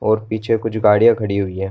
और पीछे कुछ गाड़ियाँ खड़ी हुई हैं।